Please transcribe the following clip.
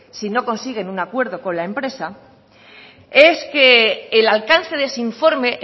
si no consiguen un acuerdo con la empresa es que el alcance de ese informe